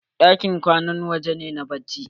Ɗakin kwana waje ne na bacci.